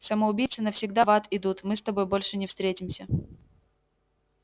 самоубийцы навсегда в ад идут мы с тобой больше не встретимся